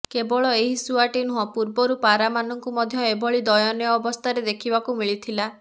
କେବଳ ଏହି ଶୁଆଟି ନୁହଁ ପୂର୍ବରୁ ପାରାମାନଙ୍କୁ ମଧ୍ୟ ଏଭଳି ଦୟନୀୟ ଅବସ୍ଥାରେ ଦେଖିବାକୁ ମିଳିଥିଲା